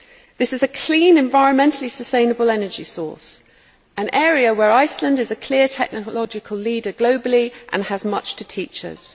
This is a clean, environmentally sustainable energy source, an area where Iceland is a clear technological leader globally and has much to teach us.